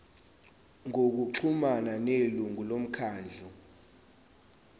ngokuxhumana nelungu lomkhandlu